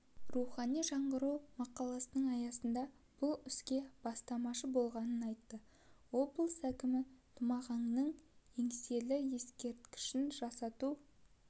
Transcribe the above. рухани жаңғыру мақаласының аясында бұл іске бастамашы болғанын айтты облыс әкімі тұмағаңның еңселі ескерткішін жасату